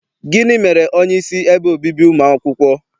Gịnị mere onyeisi ebe obibi ụmụ akwụkwọ?